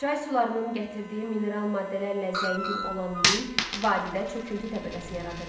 Çay sularının gətirdiyi mineral maddələrlə zəngin olan lil, vadidə çöküntü təbəqəsi yaradırdı.